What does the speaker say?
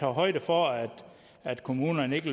højde for at at kommunerne ikke